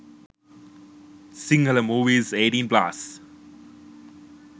sinhala movies 18+